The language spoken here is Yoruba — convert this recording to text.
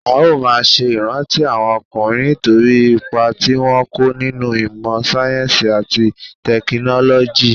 A ó máa ṣe ìrántí àwọn ọkùnrin nítorí ipa tí wọ́n kó nínú ìmọ sáyẹ́nsì àti tẹkinọ́lọ́jì.